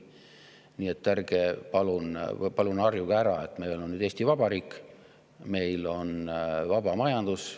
Nii et palun harjuge ära, et meil on nüüd Eesti Vabariik, meil on vaba majandus.